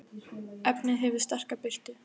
efnið hefur sterka birtu